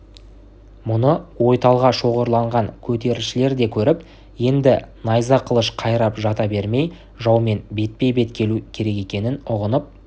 мұны ойталға шоғырланған көтерілісшілер де көріп енді найза қылыш қайрап жата бермей жаумен бетпе-бет келу керек екенін ұғынып